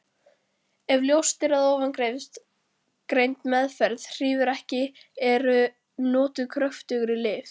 Ef ljóst er að ofangreind meðferð hrífur ekki eru notuð kröftugri lyf.